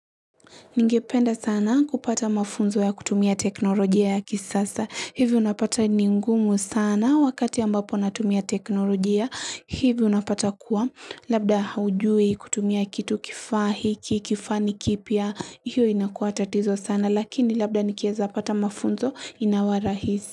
Ningependa sana kupata mafunzo ya kutumia teknolojia ya kisasa. Hivi unapata ni ngumu sana wakati ambapo natumia teknolojia. Hivi unapata kuwa. Labda haujui kutumia kitu kifaa hiki, kifani kipya. Hiyo inakuwa tatizo sana. Lakini labda nikieza pata mafunzo inawa rahisi.